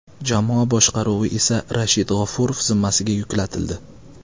Jamoa boshqaruvi esa Rashid G‘ofurov zimmasiga yuklatildi.